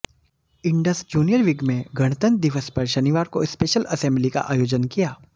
Indus junior wing में गणतंत्र दिवस पर शनिवार को स्पेशल असेंबली का आयोजन किया